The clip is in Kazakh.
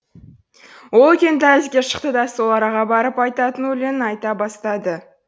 ол үлкен дәлізге шықты да сол араға барып айтатын өлеңін айта бастады